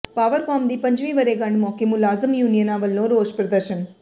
Powercom ਦੀ ਪੰਜਵੀਂ ਵਰ੍ਹੇਗੰਢ ਮੌਕੇ ਮੁਲਾਜ਼ਮ ਯੂਨੀਅਨਾਂ ਵੱਲੋਂ ਰੋਸ ਪ੍ਰਦਰਸ਼ਨ